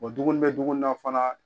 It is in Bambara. dumuni bɛ dumunina fana.